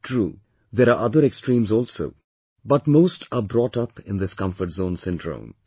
True there are other extremes also but most are brought up in this comfort zone syndrome